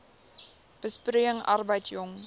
besproeiing arbeid jong